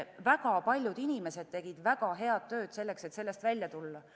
Väga paljud inimesed tegid väga head tööd selleks, et sellest välja tulla.